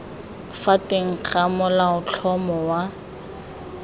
fa teng ga molaotlhomo wa